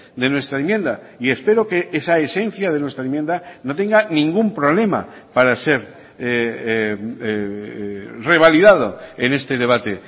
de nuestra enmienda y espero que esa esencia de nuestra enmienda no tenga ningún problema para ser revalidado en este debate